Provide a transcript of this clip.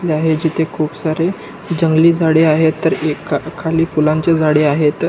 जिथे खूप सारे जंगली झाडे आहेत तर एक खा खाली फुलांचे झाड आहेत.